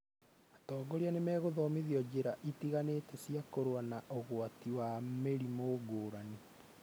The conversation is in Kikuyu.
Atongoria nĩmegũthomithio njĩra itiganĩte cia kũrũa na ũgwatani wa mĩrimũ ngũrani